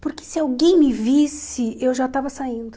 Porque se alguém me visse, eu já estava saindo.